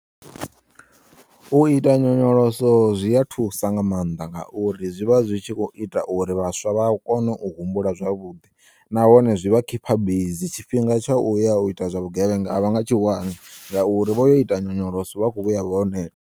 U ita nyonyoloso zwi a thusa nga maanḓa ngauri zwivha zwi tshi kho ita uri vhaswa vha kone u humbula zwavhuḓi nahone zwivha khipha bizi tshifhinga tsha uya u ita zwavhugevhenga a vha nga tshiwani ngauri vhoyo ita nyonyoloso vha kho vhuya vho neta.